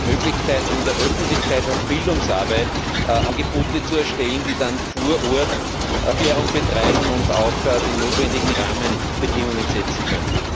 Gibt es hier Möglichkeiten, in der Öffentlichkeits und Bildungsarbeit Angebote zu erstellen, um dann vor Ort Aufklärung zu betreiben und auch die notwendigen Rahmenbedingungen setzen zu können?